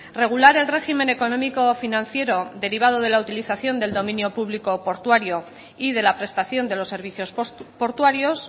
regular el régimen económico financiero derivado de la utilización del dominio público portuario y de la prestación de los servicios portuarios